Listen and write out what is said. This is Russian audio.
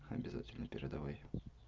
обязательно передавай